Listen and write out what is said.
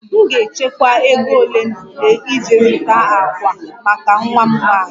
M ga-echekwa ego ole na ole iji zụta ákwà maka nwa m nwanyị